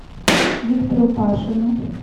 виктору пашину